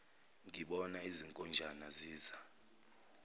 ngibona izinkonjane ziza